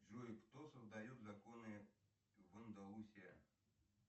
джой кто создает законы в андалусия